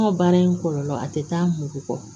An ka baara in kɔlɔlɔ a tɛ taa mugu kɔ